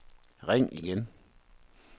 ring igen